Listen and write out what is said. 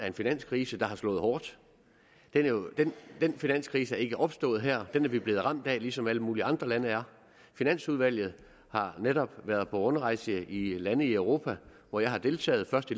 en finanskrise der har slået hårdt den finanskrise ikke er opstået her den er vi blevet ramt af ligesom alle mulige andre lande er finansudvalget har netop været på rundrejse i lande i europa hvor jeg har deltaget først